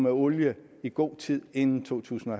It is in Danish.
olie i god tid inden totusinde